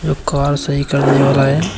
Car सही करने वाला है।